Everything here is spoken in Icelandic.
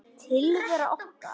Tilvera okkar